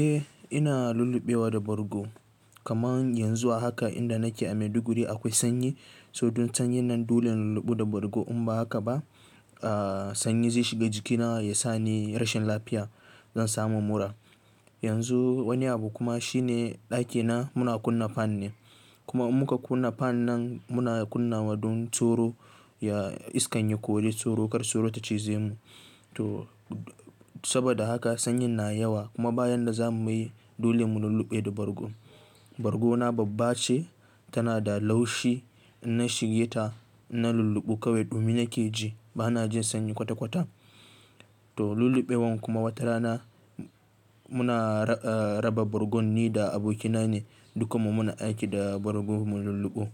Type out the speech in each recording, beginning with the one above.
Eh ina lulluɓewa da bargo kaman yanzu haka inda nake a Maiduguri akwai sanyi. Tohdon sanyin nan dole in lulluɓe da bargo in ba haka ba, aah sanyi zai shiga jikina ya sa ni rashin lafiya, zai samun mura. Yanzu wani abu kuma shine ɗakina muna kunna fan ne kuma muka kunna fan nan muna kunna wa don sauro ya iska ya kor sauro, kar sauro ta cize mu. To saboda haka sanyin na yawa kuma bayan da za mu yi dole mu lulluɓe da bargo. Bargona babba ce, tana da laushi. Inna shige ta in lulluɓe kawai ɗumi nake ji, ba na jin sanyi kwata kwata. To lulluɓewar kuma wata rana muna raba bargon ni da abokina ne dukanmu muna aiki da bargo mu lulluɓe.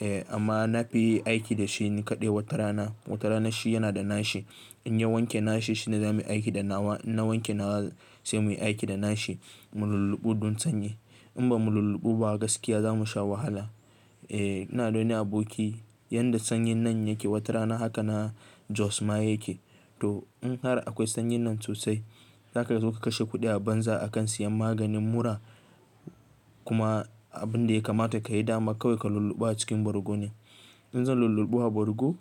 Eh amma na fi aiki da shi ni kaɗai wata rana. Wata rana shi yana da nashi in ya wanke nashi shine za mu aiki da nawa, in na wanke nawa sai mu aiki da nashi mu lulluɓe don sanyi. In ba mu lulluɓe ba gaskiya za mu sha wahala. Eh ina dole ne aboki, yadda sanyin nan yake wata rana haka na Jos ma yake. To in har akwai sanyin nan sosai, haka ka zo ka kashe kuɗi a banza a kan siyan maganin mura kuma abin da ya kamata ka yi dama kawai ka lulluɓa a cikin bargo ne. In zan lulluɓu a bargo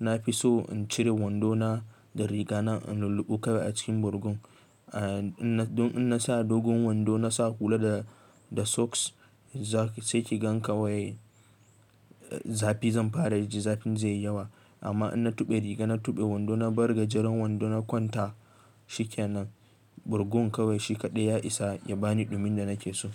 na fi so in cire wando na da riga na in lulluɓe kawai a cikin bargon. Ah in na sa dogon wando na sa hula da, da socks sai ki gan kawai zafi zan fara ji, zafin zai yi yawa. Amma in na tuɓe riga na tuɓe wando na bar gajeran wando na kwanta shikenan. Bargon kawai shi kaɗai ya isa ya bani ɗumin da nake so.